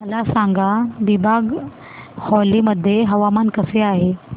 मला सांगा दिबांग व्हॅली मध्ये हवामान कसे आहे